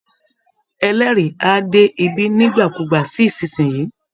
Ẹlẹ́rìí á dé bí nígbàkúùgbà sí ìsinsìnyí